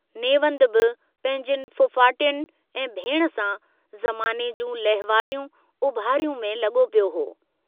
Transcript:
नेवंद बि पंहिंजयुनि फुफाटियुनि ऐं भेण सां जमाने जूं लहवारियूं उभारियूं में लगो पियो हो।